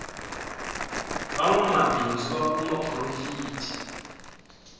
va nwamabindzu va kuma porofiti